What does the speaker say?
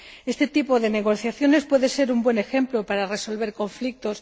Este tipo de negociaciones puede ser un buen ejemplo para resolver conflictos.